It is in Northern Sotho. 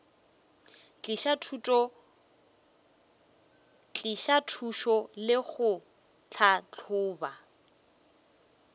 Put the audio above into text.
tliša thušo le go tlhahloba